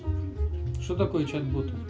что такое чат бот